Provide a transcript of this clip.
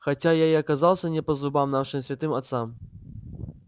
хотя я и оказался не по зубам нашим святым отцам